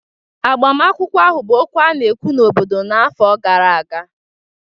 Agbamakwụkwọ ahụ bụ okwu a na-ekwu n'obodo n'afọ gara aga